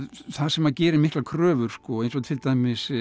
það sem gerir miklar kröfur eins og til dæmis